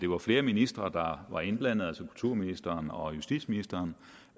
var flere ministre der var indblandet altså kulturministeren og justitsministeren